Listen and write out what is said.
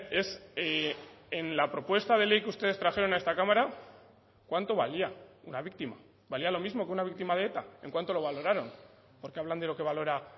es en la propuesta de ley que ustedes trajeron a esta cámara cuánto valía una víctima valía lo mismo que una víctima de eta en cuánto lo valoraron porque hablan de lo que valora